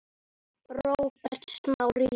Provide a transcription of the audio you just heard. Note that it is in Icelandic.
Róbert Smári Jónsson